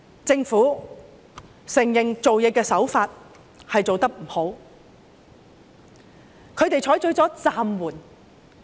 政府承認處事手法做得不好，他們採取了"暫緩"。